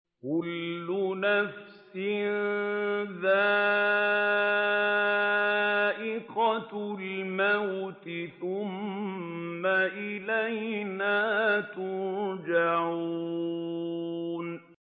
كُلُّ نَفْسٍ ذَائِقَةُ الْمَوْتِ ۖ ثُمَّ إِلَيْنَا تُرْجَعُونَ